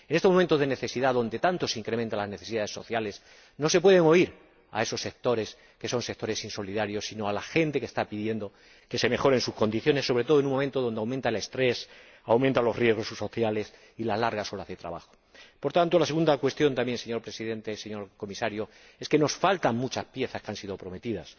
En estos momentos de necesidad, en los que tanto se incrementan las necesidades sociales, no se puede oír a esos sectores, que son sectores insolidarios, sino a la gente que está pidiendo que se mejoren sus condiciones, sobre todo en un momento en el que aumenta el estrés y aumentan los riesgos sociales y las largas horas de trabajo. Por tanto, la segunda cuestión, señor Presidente, señor Comisario, es que nos faltan muchas piezas que han sido prometidas.